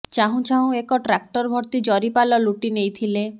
ଚାହୁଁ ଚାହୁଁ ଏକ ଟ୍ରାକ୍ଟର ଭର୍ତି ଜରିପାଲ ଲୁଟି ନେଇଥିଲେ